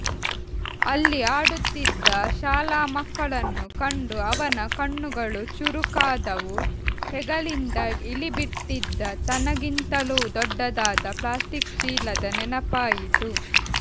ಅಲ್ಲಿ ಆಡುತ್ತಿದ್ದ ಶಾಲಾಮಕ್ಕಳನ್ನು ಕಂಡು ಅವನ ಕಣ್ಣುಗಳೂ ಚುರುಕಾದವು ಹೆಗಲಿಂದ ಇಳಿಬಿಟ್ಟಿದ್ದ ತನ್ನಗಿಂತಲೂ ದೊಡ್ಡದಾದ ಪ್ಲಾಸ್ಟಿಕ್ ಚೀಲದ ನೆನಪಾಯಿತು